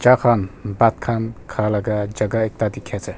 Thakhan bhat khan kha laga jaka ekta dekhe ase.